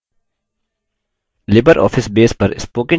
Libre office base पर spoken tutorial में आपका स्वागत है